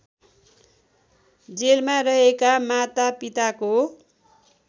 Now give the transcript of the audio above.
जेलमा रहेका मातापिताको